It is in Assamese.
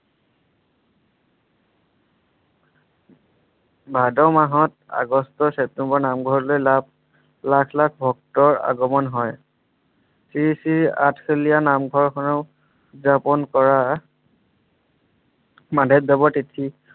ভাদ মাহত আগষ্ট ছেপ্টেম্বৰ নামঘৰলৈ লাখ লাখ ভক্ত অগমণ হয়। শ্ৰী শ্ৰী আঠখেলীয়া নামঘৰখনেও উৎযাপন কৰা মাধৱ দেৱৰ তিথি।